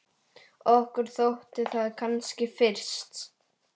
Okkur þótti það kannski fyrst.